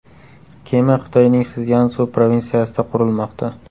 Kema Xitoyning Szyansu provinsiyasida qurilmoqda.